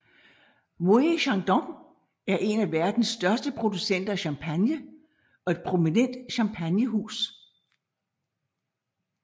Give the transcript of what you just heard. Moët et Chandon er en af verdens største producenter af champagne og et prominent champagnehus